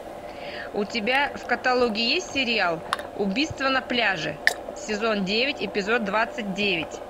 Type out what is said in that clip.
у тебя в каталоге есть сериал убийство на пляже сезон девять эпизод двадцать девять